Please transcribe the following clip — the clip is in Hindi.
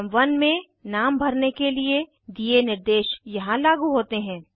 आइटम 1 में नाम भरने के लिए दिए निर्देश यहाँ लागू होते हैं